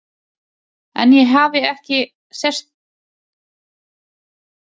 En ég hefi ekki sérstakan áhuga á sýningarsal hennar, sem er lítill.